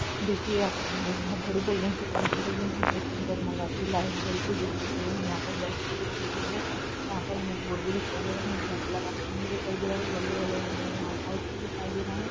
देखिए हमें एक बोहोत बड़ी बिल्डिंग दिखाई दे रही है यहाँ हमें जगमगाती लाइट जल रही दिखाई दे रही है यहाँ पर बल्ब भी दिखाई दे रहा है यहाँ पर हमे एक बोर्ड भी दिखाई दे रहा है ब्लैक ब्लैक आपको होम भी दिखाई दे रहा है येलो येलो हमे यहाँ पे हाउस भी दिखाई दे रहा है।